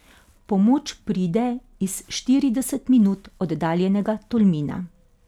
Pomoč pride iz štirideset minut oddaljenega Tolmina.